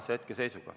Urve Tiidus, palun!